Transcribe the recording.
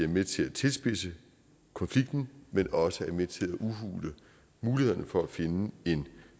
med til at tilspidse konflikten men også er med til at udhule mulighederne for at finde en